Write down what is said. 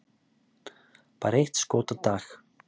Bara eitt skot á dag!